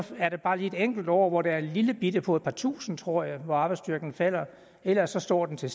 er der bare et enkelt år hvor der er et lillebitte fald på et par tusinde tror jeg hvor arbejdsstyrken falder ellers står den til